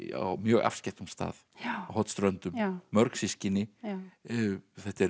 á mjög afskekktum stað á Hornströndum mörg systkini þetta er